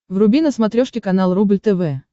вруби на смотрешке канал рубль тв